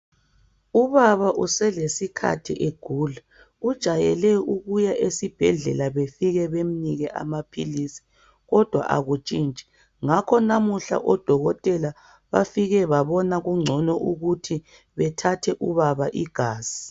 Ubaba uselesikhathi egula, ujayele ukuya esibhedlela befike bemnike amaphilisi kodwa akutshintshi ngakho namuhla odokotela bafike babona kungcono ukuthi bathathe ubaba igazi.